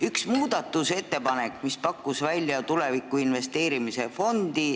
Üks muudatusettepanek pakkus välja tulevikku investeerimise fondi.